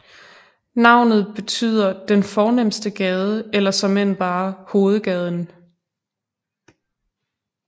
Navnet betyder den fornemste gade eller såmænd bare hovedgaden